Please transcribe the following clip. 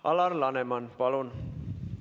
Alar Laneman, palun!